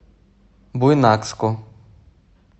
буйнакску